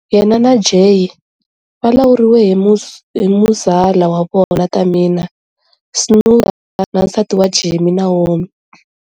Yena na Jey va lawuriwe hi muzala wa vona Tamina Snuka na nsati wa Jimmy, Naomi.